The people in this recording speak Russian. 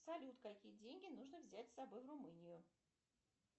салют какие деньги нужно взять с собой в румынию